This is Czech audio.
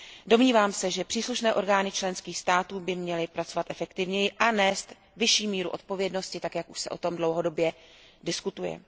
Domnívám se, že příslušné orgány členských států by měly pracovat efektivněji a nést vyšší míru odpovědnosti tak, jak už se o tom dlouhodobě diskutuje.